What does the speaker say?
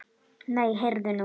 Nei, heyrðu nú.